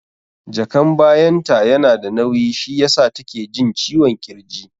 Jakan bayan ta yana da nauyi shi yasa take jin ciwon ƙirji